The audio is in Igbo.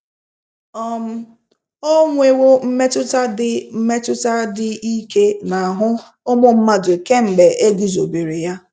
um O nwewo mmetụta dị mmetụta dị ike n’ahụ́ ụmụ mmadụ kemgbe e guzobere ya.